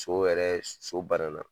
So wɛrɛ so bana na